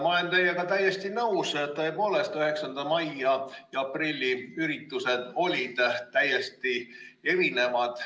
Ma olen teiega täiesti nõus, et tõepoolest 9. mai ja aprilli üritused olid täiesti erinevad.